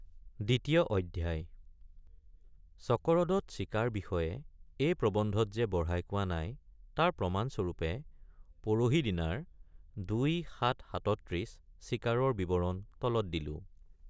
দ্বিতীয় অধ্যায় চকৰদত চিকাৰ বিষয়ে এই প্ৰবন্ধত যে বঢ়াই কোৱা নাই তাৰ প্ৰমাণ স্বৰূপে পৰহিদিনাৰ ২৭৩৭ চিকাৰৰ বিৱৰণ তলত দিলোঁ।